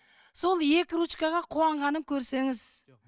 сол екі ручкаға қуанғанын көрсеңіз